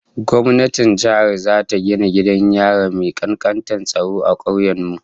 Gwamnatin jiha zata gina gidan yari mai kankantar tsaro a kauyen mu